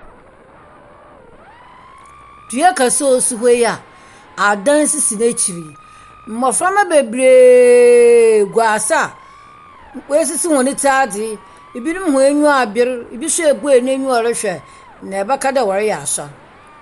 Dua kɛse osi hɔ yi a, adan sisi nakyiri yi. Mmoframa bebree gu adze a wɔasisi wɔn tiri adze. Ebinom waniwa aber. Ebi nso abue naniwa ɔrehwɛ na ɛbɛka de wɔreyɛ asɔre.